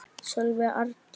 Sólveig Arndís.